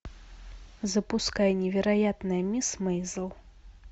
запускай невероятная мисс мейзел